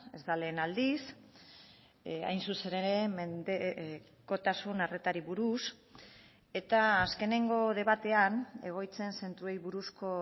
ez da lehen aldiz hain zuzen ere mendekotasun arretari buruz eta azkenengo debatean egoitzen zentroei buruzko